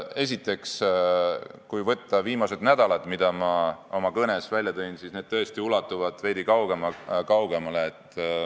Esiteks, ma oma kõnes tõin välja viimased nädalad, kuid need teemad ulatuvad tõesti veidi kaugemale.